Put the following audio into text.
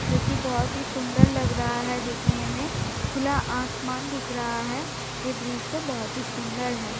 जो की बहुत ही सुंदर लग रहा है दिखने में खुला आसमान दिख रहा है यह दृश्य बहुत ही सुंदर है।